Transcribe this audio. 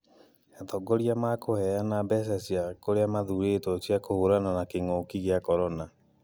Atongoria makũheana mbeca kũrĩa mathurĩtwo cia kũhũrana na kĩ'ngũki gĩa korona